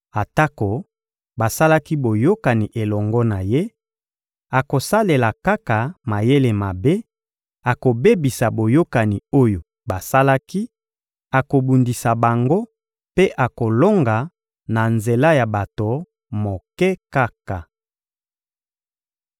Atako basalaki boyokani elongo na ye, akosalela kaka mayele mabe; akobebisa boyokani oyo basalaki, akobundisa bango mpe akolonga na nzela ya bato moke kaka.